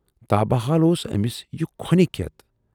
تابہٕ حال اوس ٲمِس یہِ کھۅنہٕ کٮ۪تھ۔